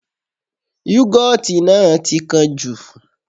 Yúgọ́ọ̀tì náà ti kán jù